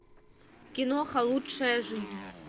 киноха лучшая жизнь